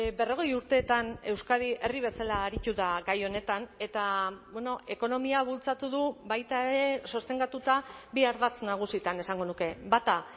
berrogei urteetan euskadi herri bezala aritu da gai honetan eta ekonomia bultzatu du baita ere sostengatuta bi ardatz nagusietan esango nuke bata